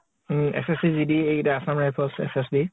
উম । SSC GD এইকেইটা assam rifles SSC